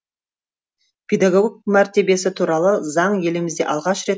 педагог мәртебесі туралы заң елімізде алғаш рет